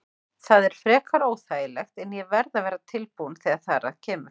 Það er frekar óþægilegt en ég verð að vera tilbúinn þegar þar að kemur.